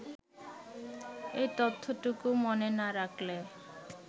এই তথ্যটুকু মনে না রাখলে